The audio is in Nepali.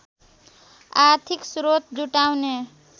आर्थिक स्रोत जुटाउने